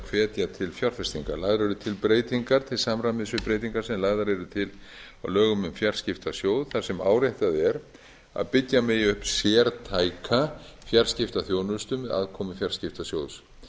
hvetja til fjárfestinga lagðar eru til breytingar til samræmis við breytingar sem lagðar eru til á lögum um fjarskiptasjóð þar sem áréttað er að byggja megi upp sértæka fjarskiptaþjónustu með aðkomu fjarskiptasjóðs